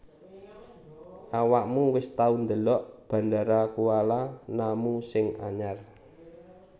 Awakmu wis tau ndelok Bandara Kuala Namu sing anyar